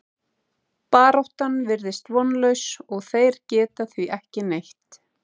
Baráttan virðist vonlaus og þeir gera því ekki neitt.